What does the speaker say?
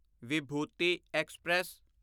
Vibhuti express